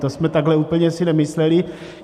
To jsme takhle úplně si nemysleli.